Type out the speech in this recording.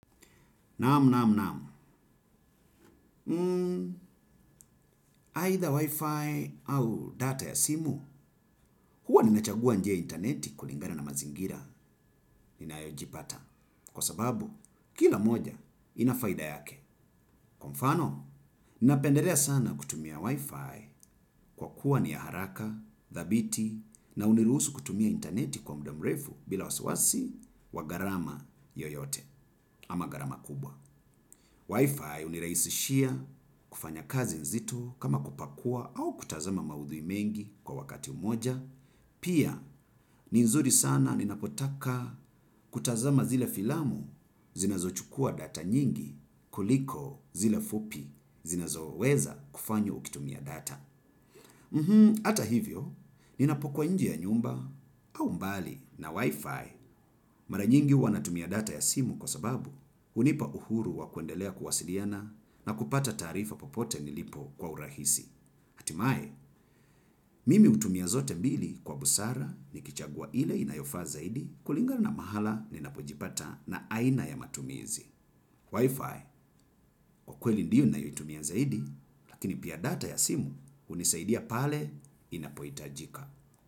Namu, namu, namu. Aitha Wi-Fi au data ya simu, huwa ninachagua nje interneti kulingana na mazingira ninayojipata. Kwa sababu, kila moja inafaida yake. Kwa mfano, ninapenderea sana kutumia Wi-Fi kwa kuwa ni ya haraka, dhabiti na unirusu kutumia interneti kwa mdamrefu bila wasawasi wa garama yoyote ama garama kubwa. Wi-Fi uniraisishia kufanya kazi nzito kama kupakua au kutazama maudhui mengi kwa wakati umoja. Pia, ni nzuri sana ninapotaka kutazama zile filamu zinazo chukua data nyingi kuliko zile fupi zinazo weza kufanywa ukitumia data. Ata hivyo, ninapokuwa nje ya nyumba au mbali na wifi mara nyingi huwa natumia data ya simu kwa sababu unipa uhuru wa kuendelea kuwasiliana na kupata tarifa popote nilipo kwa urahisi. Atimae, mimi utumia zote mbili kwa busara nikichagua ile inayofa zaidi kulingana mahala ninapojipata na aina ya matumizi. Wi-Fi, kwa kweli ndiyo nayotumia zaidi, lakini pia data ya simu unisaidia pale inapoitajika.